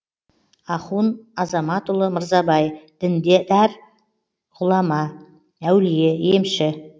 ахун азаматұлы мырзабай діндар ғұлама әулие емші